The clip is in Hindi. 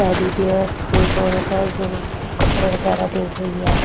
टेडी बियर एक औरत है जो कपड़े वगैरह देख रही है।